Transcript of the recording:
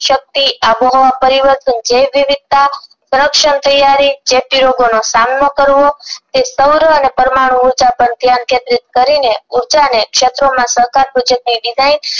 શક્તિ આબોહવા પરિવર્તન જેવ વિવિધતા તેયારી ચેપી રોગો નો સામનો કરવો અને સૌરવ અને પરમાણુ ઉર્જા પર ધ્યાન કેન્દ્રિત કરીને ઉર્જા ને ક્ષેત્રોમાં સહકાર